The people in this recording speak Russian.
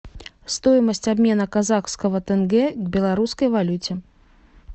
стоимость обмена казахского тенге к белорусской валюте